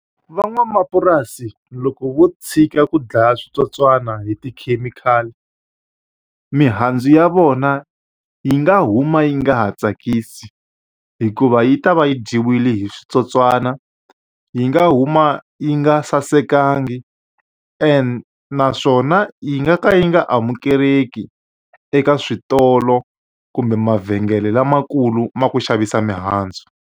Van'wamapurasi loko vo tshika ku dlaya switsotswani hi tikhemikhali, mihandzu ya vona yi nga huma yi nga ha tsakisi. Hikuva yi ta va yi dyiwile hi switsotswana, yi nga huma yi nga sasekanga, naswona yi nga ka yi nga amukeleki eka switolo kumbe mavhengele lamakulu lama ku xavisa mihandzu.